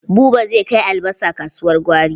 Buba zai kai albasa kasuwar gwari.